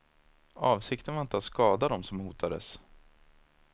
Avsikten var inte att skada dem som hotades.